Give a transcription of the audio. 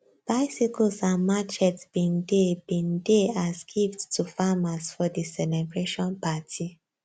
bicycles and machetes bin dey bin dey as gifts to farmers for di celebration party